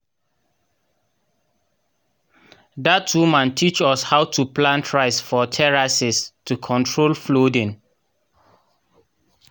dat woman teach us how to plant rice for terraces to control flooding.